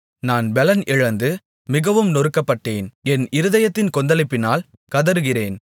நான் பெலன் இழந்து மிகவும் நொறுக்கப்பட்டேன் என் இருதயத்தின் கொந்தளிப்பினால் கதறுகிறேன்